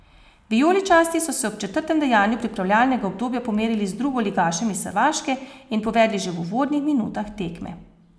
Vijoličasti so se ob četrtem dejanju pripravljalnega obdobja pomerili z drugoligašem iz Hrvaške in povedli že v uvodnih minutah tekme.